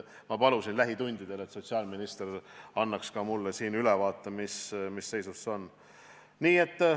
Ma palusin, et sotsiaalminister annaks lähitundidel ka mulle ülevaate, mis seisus see asi on.